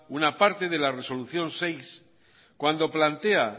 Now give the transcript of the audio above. una parte de la resolución seis cuando plantea